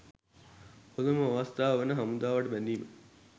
හොඳම අවස්ථාව වන හමුදාවට බැඳීම